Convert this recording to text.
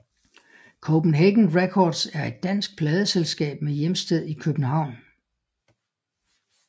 Copenhagen Records er et dansk pladeselskab med hjemsted i København